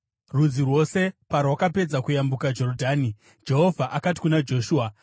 Rudzi rwose parwakapedza kuyambuka Jorodhani, Jehovha akati kuna Joshua,